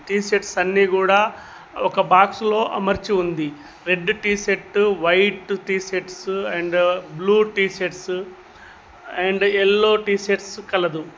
T shirts అన్నీ కూడ ఒక బాక్స్ లో అమర్చి ఉంది red T shirts white T shirts and blue T shirts and yellow T shirts కలదు.